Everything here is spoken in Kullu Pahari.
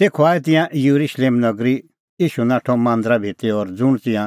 तेखअ आऐ तिंयां येरुशलेम नगरी ईशू नाठअ मांदरा भितरी और ज़ुंण तिंयां